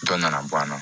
Dɔ nana bɔ a la